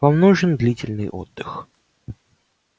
вам нужен длительный отдых